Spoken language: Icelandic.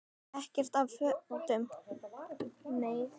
Ekkert af fötum